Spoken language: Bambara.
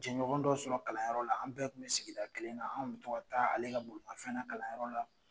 Jɛɲɔgɔn dɔ sɔrɔ kalanyɔrɔ la an bɛɛ kun be sigida kelen na , an kun be to ka taa ale ka bolimafɛn na kalanyɔrɔ la.